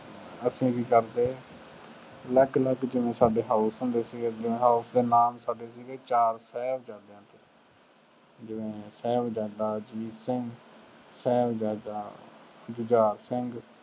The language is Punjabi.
ਅਸੀਂ ਕੀ ਕਰਦੇ, ਅਲੱਗ ਅਲੱਗ ਜਿਵੇਂ ਸਾਡੇ house ਹੁੰਦੇ ਸੀਗੇ, ਜਿਵੇਂ house ਦੇ ਨਾਮ ਸਾਡੇ ਸੀਗੇ ਚਾਰ ਸਾਹਿਬਜ਼ਾਦਿਆਂ ਦੇ ਨਾਮ ਜਿਵੇਂ ਸਾਹਿਬਜ਼ਾਦਾ ਅਜੀਤ ਸਿੰਘ, ਸਾਹਿਬਜ਼ਾਦਾ ਜੁਝਾਰ ਸਿੰਘ